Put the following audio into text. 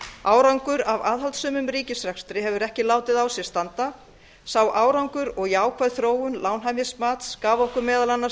árangur af aðhaldssömum ríkisrekstri hefur ekki látið á sér standa sá árangur og jákvæð þróun lánshæfismats gaf okkur meðal annars